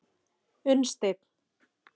Unnsteinn